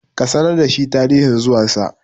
ka sanar da shi tarihin zuwansa!